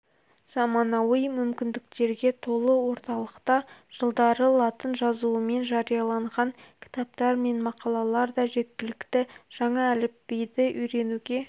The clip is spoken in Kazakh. заманауи мүмкіндіктерге толы орталықта жылдары латын жазуымен жарияланған кітаптар мен мақалалар да жеткілікті жаңа әліпбиді үйренуге